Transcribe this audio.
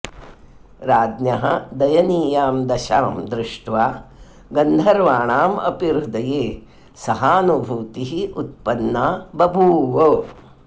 राज्ञः दयनीयां दशां दृष्ट्वा गन्धर्वाणाम् अपि हृदये सहानुभूतिः उत्पन्ना बभूव